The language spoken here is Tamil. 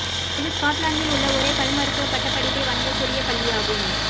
இது ஸ்காட்லாந்தில் உள்ள ஒரே பல்மருத்துவ பட்டப் படிப்பை வழங்கக் கூடிய பள்ளியாகும்